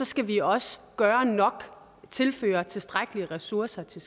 skal vi også gøre nok tilføre tilstrækkelige ressourcer til